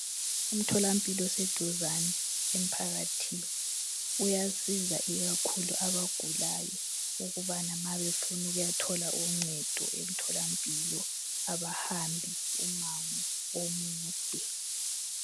umtholampilo oseduzane emphakathini uyasiza ikakhulu abagulayo ukubana uma befuna ukuyathola uncedo emtholampilo abahambi umango omude